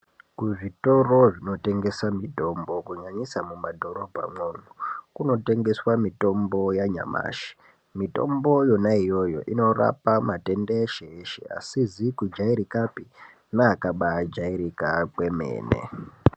Kuzvitoro zvinotengesa mitombo kunyanyisa mumadhorobha mwomwo kunotengeswa mitombo yanyamashi. Mitombo iyona iyoyo inorapa matenda eshe-eshe asizi kujairikapi neakabajairika kwemene.